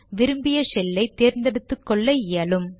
விரும்பிய ஷெல்லை தேர்ந்தெடுத்துக்கொள்ள இயலும்